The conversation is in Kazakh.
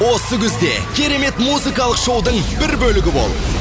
осы күзде керемет музыкалық шоудың бір бөлігі бол